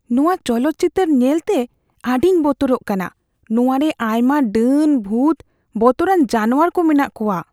ᱱᱚᱶᱟ ᱪᱚᱞᱚᱛ ᱪᱤᱛᱟᱹᱨ ᱧᱮᱞᱛᱮ ᱟᱹᱰᱤᱧ ᱵᱚᱛᱚᱨᱜ ᱠᱟᱱᱟ ᱾ ᱱᱚᱶᱟ ᱨᱮ ᱟᱭᱢᱟ ᱰᱟᱹᱱ, ᱵᱷᱩᱛ, ᱵᱚᱛᱚᱨᱟᱱ ᱡᱟᱱᱣᱟᱨ ᱠᱚ ᱢᱮᱱᱟᱜ ᱠᱚᱣᱟ ᱾